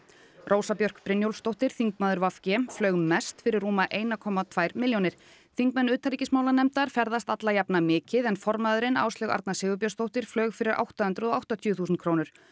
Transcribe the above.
Rósa Björk Brynjólfsdóttir þingmaður v g flaug mest fyrir rúmlega eina komma tvær milljónir þingmenn utanríkismálanefndar ferðast alla jafna mikið en formaðurinn Áslaug Arna Sigurbjörnsdóttir flaug fyrir átta hundruð og áttatíu þúsund krónur